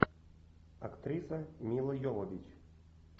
актриса мила йовович